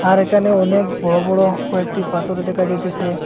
আর একানে অনেক বড় বড় কয়েকটি পাতর দেকা যাইতেছে।